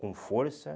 Com força.